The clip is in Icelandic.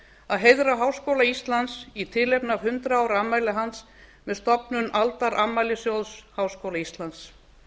að heiðra háskóla íslands í tilefni af hundrað ára afmæli hans með stofnun aldarafmælissjóðs háskóla íslands